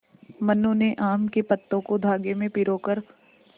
मनु ने आम के पत्तों को धागे में पिरो कर